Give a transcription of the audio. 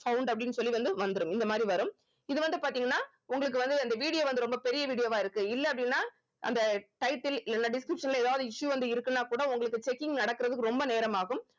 sound அப்படின்னு சொல்லி வந்து வந்துரும் இந்த மாதிரி வரும் இது வந்து பாத்தீங்கன்னா உங்களுக்கு வந்து இந்த video வந்து ரொம்ப பெரிய video வா இருக்கு இல்ல அப்படின்னா அந்த title இல்லன்னா description ல எதாவது issue வந்து இருக்குன்னா கூட உங்களுக்கு checking நடக்குறதுக்கு ரொம்ப நேரம் ஆகும்